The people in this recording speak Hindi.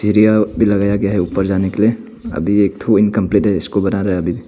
यह लगाया गया है ऊपर जाने के लिए अभी एक थो इनकंप्लीट है इसको बना रहा है अभी।